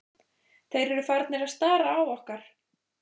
Þeir eru farnir að stara á okkar.